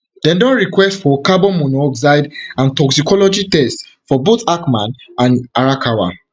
dem don request for carbon monoxide and toxicology tests for both hackman and arakawa